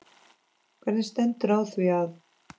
Hvernig stendur á því að